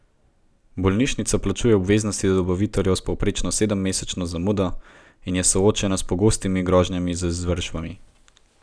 Bolnišnica plačuje obveznosti do dobaviteljev s povprečno sedemmesečno zamudo in je soočena s pogostimi grožnjami z izvršbami.